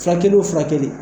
Furakɛli o furakɛli